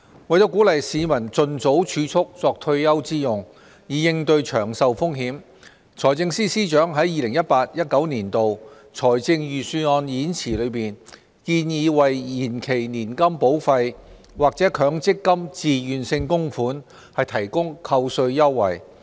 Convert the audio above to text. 為鼓勵市民盡早儲蓄作退休之用，以應對長壽風險，財政司司長在 2018-2019 年度財政預算案演辭中建議為延期年金保費或強積金自願性供款提供扣稅優惠。